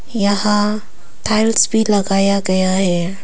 यहां टाइल्स भी लगाया गया है।